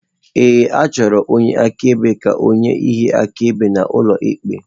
Ee, achọrọ onye akaebe ka ọ nye ihe akaebe n'ụlọ ikpe.